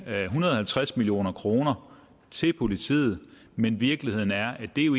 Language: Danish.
hundrede og halvtreds million kroner til politiet men virkeligheden er at det jo